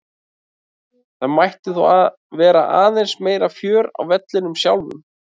Það mætti þó vera aðeins meira fjör á vellinum sjálfum.